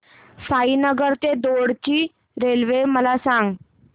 साईनगर ते दौंड ची रेल्वे मला सांग